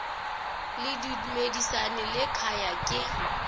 le dumisani le khaya ke